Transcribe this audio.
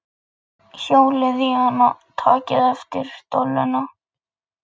Við verðum öll að fara saman í hóp á bolludaginn.